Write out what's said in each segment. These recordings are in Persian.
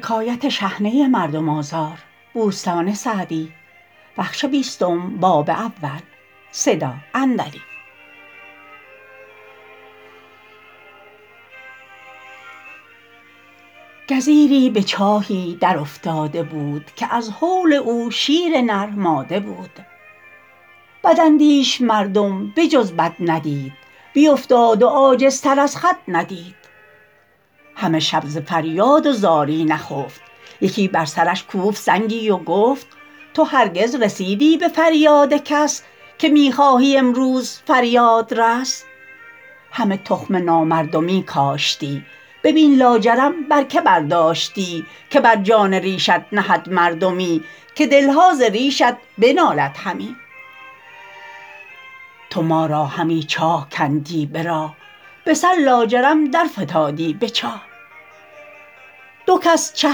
گزیری به چاهی در افتاده بود که از هول او شیر نر ماده بود بداندیش مردم به جز بد ندید بیافتاد و عاجزتر از خود ندید همه شب ز فریاد و زاری نخفت یکی بر سرش کوفت سنگی و گفت تو هرگز رسیدی به فریاد کس که می خواهی امروز فریادرس همه تخم نامردمی کاشتی ببین لاجرم بر که برداشتی که بر جان ریشت نهد مرهمی که دلها ز ریشت بنالد همی تو ما را همی چاه کندی به راه به سر لاجرم در فتادی به چاه دو کس چه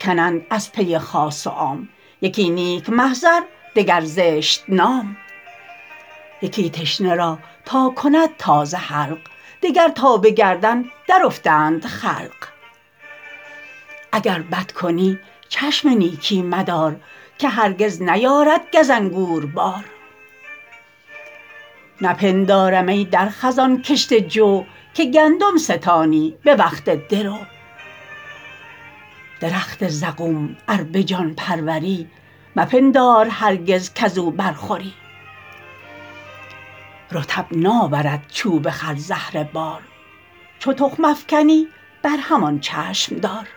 کنند از پی خاص و عام یکی نیک محضر دگر زشت نام یکی تشنه را تا کند تازه حلق دگر تا به گردن در افتند خلق اگر بد کنی چشم نیکی مدار که هرگز نیارد گز انگور بار نپندارم ای در خزان کشته جو که گندم ستانی به وقت درو درخت زقوم ار به جان پروری مپندار هرگز کز او بر خوری رطب ناورد چوب خرزهره بار چو تخم افکنی بر همان چشم دار